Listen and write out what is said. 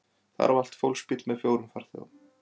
Þar valt fólksbíll með fjórum farþegum